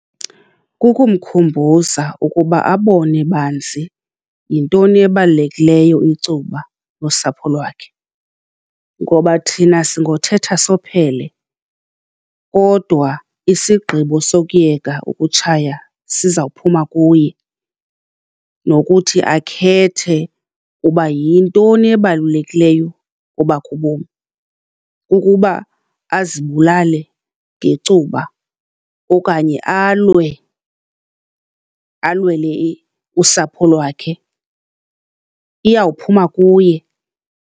Kukumkhumbuza ukuba abone banzi, yintoni ebalulekileyo, icuba nosapho lwakhe. Ngoba thina singothetha sophele kodwa isigqibo sokuyeka ukutshaya sizawuphuma kuye, nokuthi akhethe uba yintoni ebalulekileyo kobakhe ubomi. Ukuba azibulale ngecuba okanye alwe, alwele usapho lwakhe? Iyawuphuma kuye.